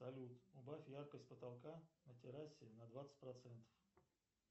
салют убавь яркость потолка на террасе на двадцать процентов